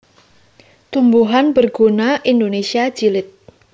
Tumbuhan Berguna Indonesia Jilid